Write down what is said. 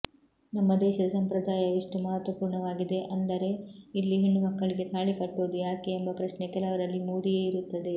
ನಮ್ಮ ದೇಶದ ಸಂಪ್ರದಾಯ ಎಷ್ಟು ಮಹತ್ವಪೂರ್ಣವಾಗಿದೆ ಅಂದರೆ ಇಲ್ಲಿ ಹೆಣ್ಣುಮಕ್ಕಳಿಗೆ ತಾಳಿಕಟ್ಟುವುದು ಯಾಕೆ ಎಂಬ ಪ್ರಶ್ನೆ ಕೆಲವರಲ್ಲಿ ಮೂಡಿಯೇ ಇರುತ್ತದೆ